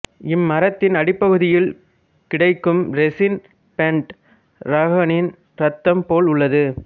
இம்மரத்தின் அடிப்பகுதியில் கிடைக்கும் ரெசின் பெண்ட்ராகனின் ரத்தம் போல் உள்ளது